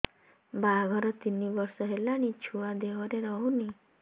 ବାହାଘର ତିନି ବର୍ଷ ହେଲାଣି ଛୁଆ ଦେହରେ ରହୁନି